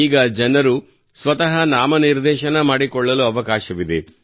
ಈಗ ಜನರು ಸ್ವತಃ ನಾಮನಿರ್ದೇಶನ ಮಾಡಿಕೊಳ್ಳಲು ಅವಕಾಶವಿದೆ